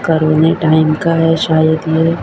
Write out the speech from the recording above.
करोने time का है शायद ये--